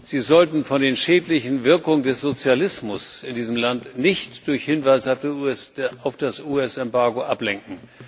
Sie sollten von den schädlichen Wirkungen des Sozialismus in diesem Land nicht durch Hinweise auf das US Embargo ablenken.